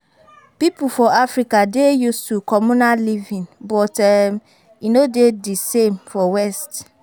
Pipo for Africa dey used to communal living but um e no dey di same for west